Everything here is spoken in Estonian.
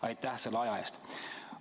Aitäh selle aja eest!